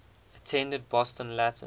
attended boston latin